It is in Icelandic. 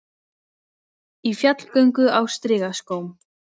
Í fjallgöngu á strigaskóm